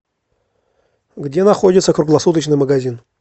где находится круглосуточный магазин